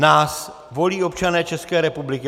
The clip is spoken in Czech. Nás volí občané České republiky.